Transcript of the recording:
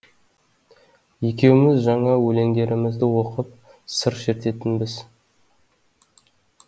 екеуміз жаңа өлеңдерімізді оқып сыр шертетінбіз